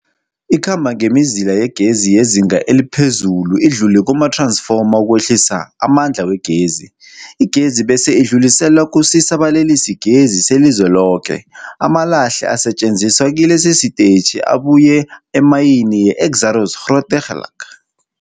Ikhamba ngemizila yegezi yezinga eliphezulu idlule kumath-ransfoma ukwehlisa amandla wegezi. Igezi bese idluliselwa kusisa-balalisigezi selizweloke. Amalahle asetjenziswa kilesi sitetjhi abuya emayini yeExxaro's Grootegeluk.